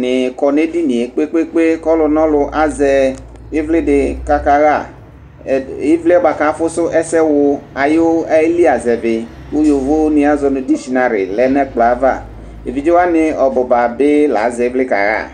ni kɔ nu edinie kpekpekpe ku ɔlu nɔlu azɛ ivli di kaka ma, ɛdi, ivliɛ bʋa ku afusu ɛsɛ wu ayili azɛvi ku yovo ni azɔ dishinari lɛ nu ɛkplɔɛ ava, evidze wʋani ɔbu ba bi la zɛ ivliɛ ku aka ɣa